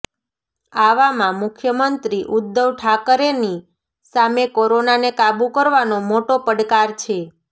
આવામાં મુખ્યમંત્રી ઉદ્ધવ ઠાકરેની સામે કોરોનાને કાબૂ કરવાનો મોટો પડકાર છે